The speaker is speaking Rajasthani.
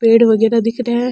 पेड़ वगेरा दिख रा है।